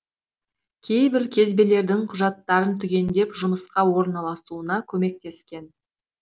кейбір кезбелердің құжаттарын түгендеп жұмысқа орналасуына көмектескен